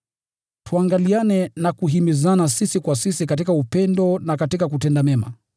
Tuangaliane na kuhimizana sisi kwa sisi katika upendo na katika kutenda mema.